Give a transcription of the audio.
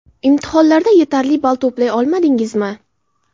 Imtihonlarda yetarli ball to‘play olmadingizmi?